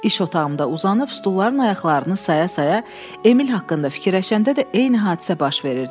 İş otağımda uzanıb stulların ayaqlarını saya-saya Emil haqqında fikirləşəndə də eyni hadisə baş verirdi.